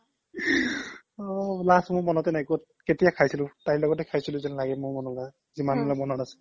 অ last মোৰ মনতে নাই কেতিয়া খাইছিলোঁ তাইৰ লগতে যে খাইছিলো যেন লাগে মোৰ মনো হয় যিমানলৈ মনত আছে